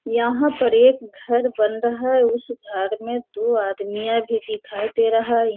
यहाँ पर एक घर बन रहा है। उस घर में दो आदमियाँ भी दिखाई दे रहा है।